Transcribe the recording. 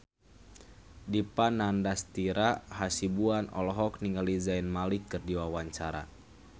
Dipa Nandastyra Hasibuan olohok ningali Zayn Malik keur diwawancara